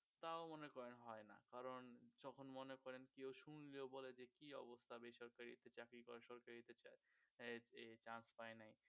তা ও মনে করেন হয় না কারণ যখন মনে করেন কেউ শুনলেও বলে যে কি অবস্থা বেসরকারিতে চাকরি করে সরকারিতে এর chance পায় না